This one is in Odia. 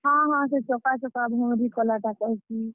ହଁ ହଁ, ସେ ଚକା ଚକା ଭଉଁରୀ କଲାଟା କହେସି।